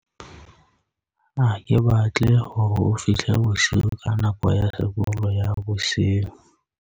ha ke batle hore o fihle bosiu ka nako ya sekolo ya bosiu